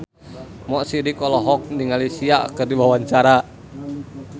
Mo Sidik olohok ningali Sia keur diwawancara